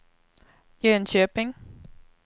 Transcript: Jönköping